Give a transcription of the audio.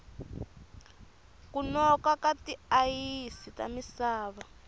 ku noka ka ti ayisi ta misava